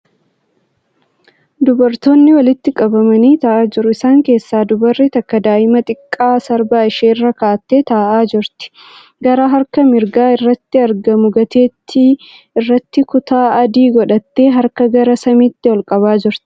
Dubartoonni walitti qabamanii taa'aa jiru. Isaan keessaa dubarri takka daa'ima xiqqoo sarbaa ishee irra kaa'attee taa'aa jieti. Gara harka mirgaa irratti argamtu gateettii irratti kutaa adii godhattee harka gara samiitti ol qabaa jirti.